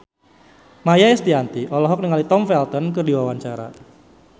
Maia Estianty olohok ningali Tom Felton keur diwawancara